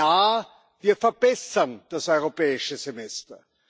Ja, wir verbessern das Europäische Semester.